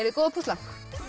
þið góð að púsla